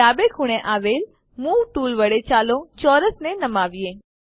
ડાબે ખૂણે આવેલ મૂવ ટૂલ વડે ચાલો ચોરસને નમાવીએ